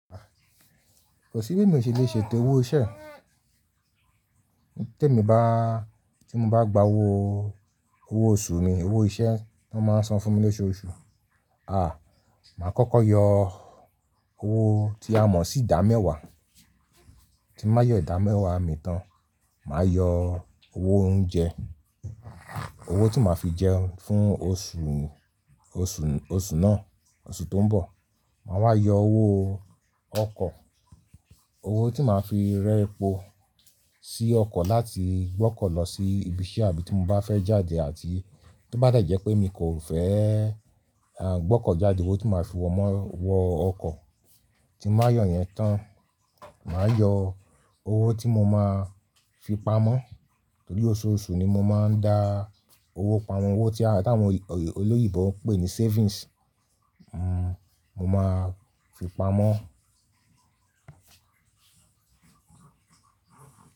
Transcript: Kò sí bí mi ò ṣe lè ṣe etẹ owó iṣẹ́. Té mi bá, tí mo bá gba owó, owó oṣù mi, owó iṣẹ́ tí wọ́n máa ń san fún mi lóṣùọ́ṣù. Àh, màá kọ́kọ́ yọ owó tí a mọ̀ sí ìdámẹ́wàá. Tí mó yọ ìdámẹ́wàá mi tán, màá yọ owó oúnjẹ. Owó tí màá fi jẹ fún oṣù, oṣù, oṣù náà, oṣù tó ń bọ̀. Màá wá yọ owó ọkọ̀. Owó tí màá fi rẹ́po sí ọkọ̀ láti gbọ́kọ̀ lọ sí ibi iṣẹ́ àbí tí mo bá fẹ́ jáde àti tí ó bá dà jẹ́ pé mi kò fẹ́, àh, gbọ́kọ̀ jáde. Owó tí màá fi wọmọ́, wọ ọkọ̀. Tí mó yọ yẹn tán, màá yọ owó tí mo máa fi pamọ́. Nítorí oṣooṣù ni mo máa ń dá owó pamọ́. Owó tí táwọn olóyìnbó ń pè ní savings. Hmm, mo máa fi pamọ́